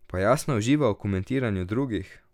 Pa Jasna uživa v komentiranju drugih?